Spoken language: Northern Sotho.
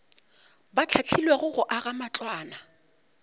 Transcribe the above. ba hlahlilwego go aga matlwana